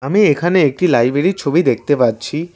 আমি এখানে একটি লাইব্রেরীর ছবি দেখতে পাচ্ছি।